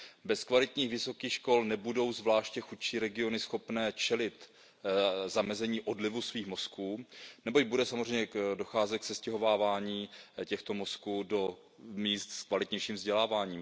Bez kvalitních vysokých škol nebudou zvláště chudší regiony schopné čelit odlivu svých mozků, neboť bude samozřejmě docházet k sestěhovávání těchto mozků do míst s kvalitnějším vzděláváním.